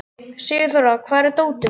Sigurþóra, hvar er dótið mitt?